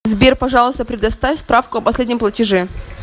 сбер пожалуйста предоставь справку о последнем платеже